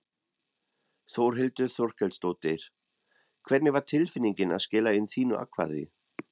Þórhildur Þorkelsdóttir: Hvernig var tilfinningin að skila inn þínu atkvæði?